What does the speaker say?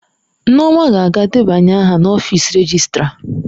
Nneoma ga-aga debanye aha n'ọfịs rejịstra.